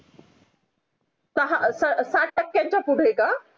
साठ टक्यांच्या पुढे ये का